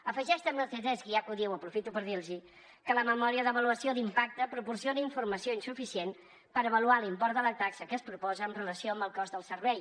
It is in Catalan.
afegeix també el ctesc i ja que ho diu aprofito per dir los hi que la memòria d’avaluació d’impacte proporciona informació insuficient per avaluar l’import de la taxa que es proposa en relació amb el cost del servei